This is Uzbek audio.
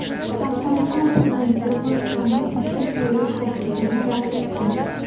Afg‘oniston prezidenti Pokistonga tashrif buyurish taklifini rad etdi.